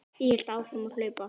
Ég hélt áfram að hlaupa.